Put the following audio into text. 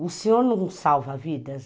O senhor não salva vidas?